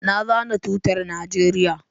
Na zana tutar Nijeriya